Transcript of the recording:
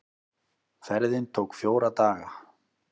Ferðin tók fjóra daga.